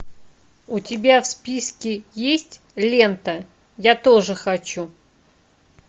у тебя в списке есть лента я тоже хочу